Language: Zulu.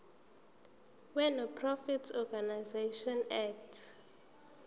wenonprofit organisations act